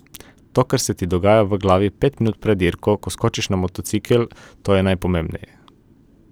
To, kar se ti dogaja v glavi pet minut pred dirko, ko skočiš na motocikel, to je najpomembneje.